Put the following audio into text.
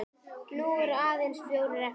Nú eru aðeins fjórir eftir.